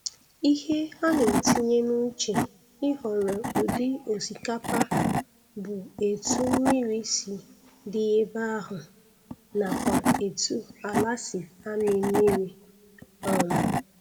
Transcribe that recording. Ihe a na-etinye n' uche ịhọrọ ụdị osikapa bụ etu mmiri si di ebe ahụ nakwa etu ala si amị mmiri um